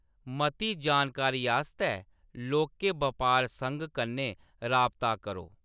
मती जानकारी आस्तै लौह्‌‌के बपार संघ कन्नै राबता करो।